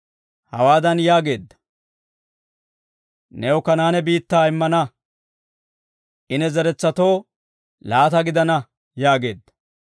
Hawaadan yaageedda; «New Kanaane biittaa immana; I ne zeretsatoo laata gidana» yaageedda.